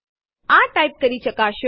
આ ટાઇપ કરી ચકાસો